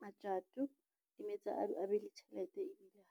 matjato, di mo etsa a be le tjhelete ebile.